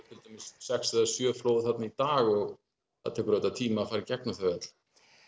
til dæmis sex til sjö flóð þarna í dag og það tekur auðvitað tíma að fara í gegnum þau öll